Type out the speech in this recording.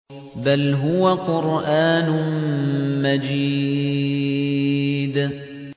بَلْ هُوَ قُرْآنٌ مَّجِيدٌ